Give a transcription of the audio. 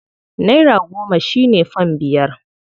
Naira goma shi ne fam biyar.